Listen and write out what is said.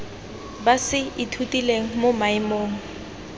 ba se ithutileng mo maemong